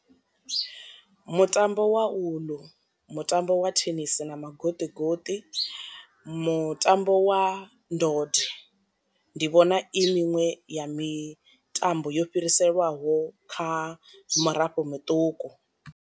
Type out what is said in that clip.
Mutambo wa uḽu, mutambo wa thenisi na magoṱi goṱi, mutambo wa ndode. Ndi vhona i miṅwe ya mitambo yo fhiriselwaho kha murafho muṱuku.